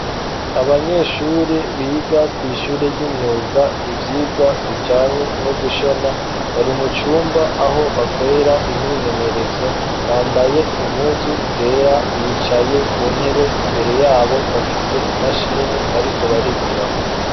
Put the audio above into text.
Abanyeshure biga kw’ishure ry'imyuga ivyigwa bijanye no gushona, bari mucumba aho bakorera imyimenyerezo bambaye impuzu zera bicaye ku ntebe ,imbere yabo bafise imashini bariko barigirako.